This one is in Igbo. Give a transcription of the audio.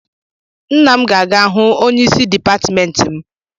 Nna m ga-aga hu onyeisi dipatịmentị m.